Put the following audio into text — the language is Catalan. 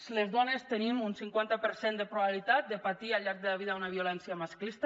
si les dones tenim un cinquanta per cent de probabilitat de patir al llarg de la vida una violència masclista